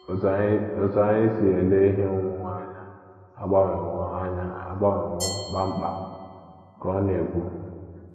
“ Otú anyị si ele ihe onwunwe anya agbanwewo anya agbanwewo kpam kpam, ” ka ọ na - ekwu.